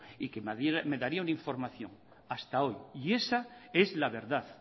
y que me daría una información hasta hoy y esa es la verdad